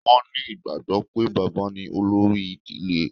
Wọn ní ìgbàgbọ́ pé, bàbá ní olórí ìdílé